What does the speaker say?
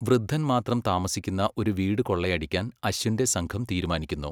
വൃദ്ധൻ മാത്രം താമസിക്കുന്ന ഒരു വീട് കൊള്ളയടിക്കാൻ അശ്വിന്റെ സംഘം തീരുമാനിക്കുന്നു.